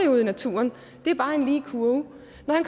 ude i naturen det er bare en lige kurve